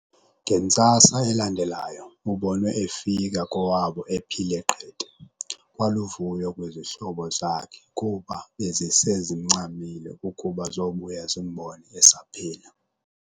Ngentsasa elandelayo ubonwe efika kowabo ephile qete, kwaluvuyo kwizihlobo zakhe kuba bezise zimncamile ukuba zobuya zimbone esaphila.